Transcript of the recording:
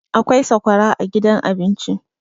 akwai sakwara a gidan abinci